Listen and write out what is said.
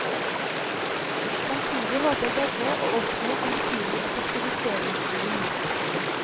Samtidig håper begge å oppnå en betydelig effektiviseringsgevinst.